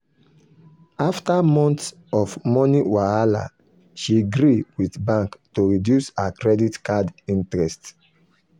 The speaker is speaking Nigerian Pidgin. after months of money wahala she gree with bank to reduce her credit card interest.